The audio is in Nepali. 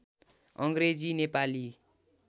अङ्ग्रेजी नेपाली